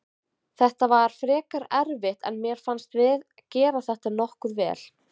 Þetta var frekar erfitt en mér fannst við gera þetta nokkuð vel.